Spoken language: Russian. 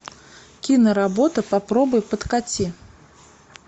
киноработа попробуй подкати